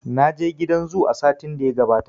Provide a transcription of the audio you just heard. Naje gidan zu a satin da ya gabata